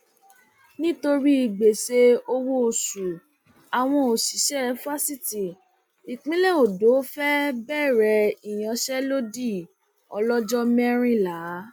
nítorí gbèsè owóoṣù àwọn òṣìṣẹ fásitì ìpínlẹ ondo fee bẹrẹ ìyànṣẹlódì ọlọjọ mẹrìnlá